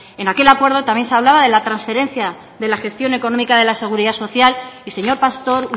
en aquel acuerdo también se hablaba de la transferencia de la gestión económica de la seguridad social y señor pastor